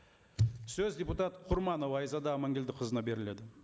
сөз депутат құрманова айзада аманкелдіқызына беріледі